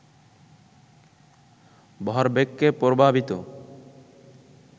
ভরবেগকে প্রভাবিত